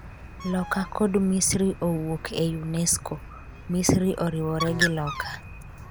Loka kod Misri owuok e UNESCO .Misri oriwore gi Loka